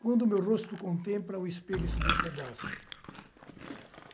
Quando o meu rosto contempla, o espelho se despedaça.